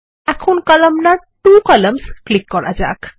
এখন কলামনার ত্ব কলাম্নস ক্লিক করা যাক